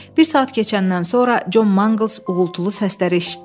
Bir saat keçəndən sonra Con Mangls uğultulu səsləri eşitdi.